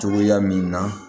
Cogoya min na